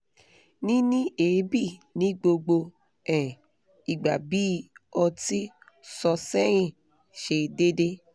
nini eebi nigbogbo um igba bi oti so sehin se dede